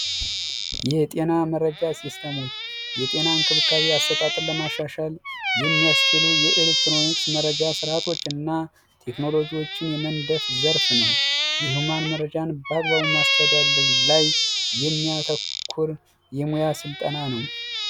የጤና መረጃ ሲስተሞች የጤና እንክብካቤ አሰጣጥን ለማሻሻል የሚያስችሉ የኤሌክትሮኒክስ መረጃ ስርዓቶች እና ቴክኖሎጂዎችን የመንደፍ ዘርፍ ነው መረጃን ማስተዳደር ላይ የሚያተኩር የሙያ ስልጠና ነው